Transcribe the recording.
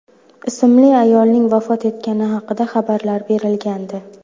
ismli ayolning vafot etgani haqida xabarlar berilgandi.